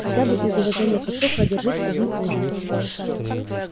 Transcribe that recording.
хотя бы из уважения к отцу продержись один ужин